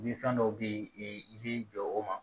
Ni fɛn dɔw be ye i b'i jɔ o ma